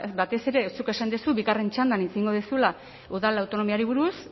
batez ere zuk esan duzu bigarren txandan hitz egingo duzula udal autonomiari buruz